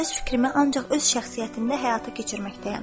Mən öz fikrimi ancaq öz şəxsiyyətimdə həyata keçirməkdəyəm.